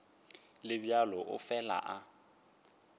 le bjalo o fela a